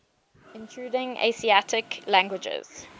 intruding asiatic languages